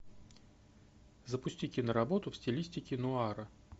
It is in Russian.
запусти киноработу в стилистике нуара